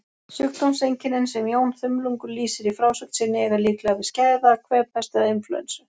Sjúkdómseinkennin sem Jón þumlungur lýsir í frásögn sinni eiga líklega við skæða kvefpest eða inflúensu.